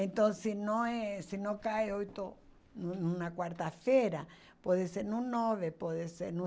Então, se não eh se não cai oito no na quarta-feira, pode ser no nove, pode ser no .